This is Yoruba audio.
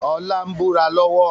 Ọlá ń búra lọ́wọ́